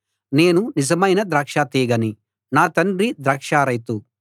నేను నిజమైన ద్రాక్ష తీగని నా తండ్రి ద్రాక్ష రైతు